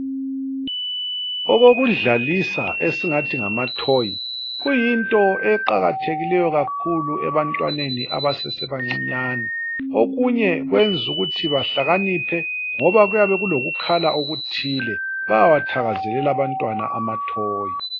Okokudlalisa esingathi ngamathoyi kuyinto eqakathekileyo kakhulu ebantwaneni abasesebancinyane. Okunye kwenza ukuthi bahlakaniphe ngoba kuyabe kulokukhala okuthile , bayawathakazelela abantwana amathoyo.